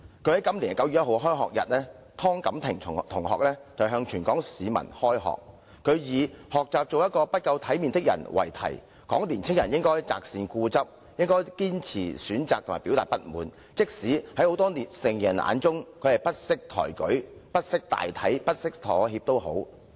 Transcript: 她於今年9月1日的開學日致辭時，以學習做一個不夠體面的人為題，指出年輕人應該擇善固執，堅持選擇及表達不滿，那管她在許多成年人眼中是不識抬舉、不識大體和不識妥協。